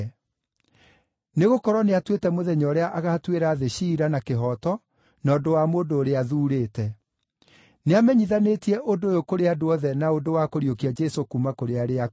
Nĩgũkorwo nĩatuĩte mũthenya ũrĩa agaatuĩra thĩ ciira na kĩhooto na ũndũ wa mũndũ ũrĩa athuurĩte. Nĩamenyithanĩtie ũndũ ũyũ kũrĩ andũ othe na ũndũ wa kũriũkia Jesũ kuuma kũrĩ arĩa akuũ.”